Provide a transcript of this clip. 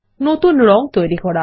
নতুন রং তৈরি করা